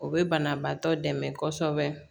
O bɛ banabaatɔ dɛmɛ kosɛbɛ